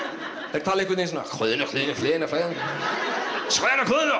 þeir tala einhvern veginn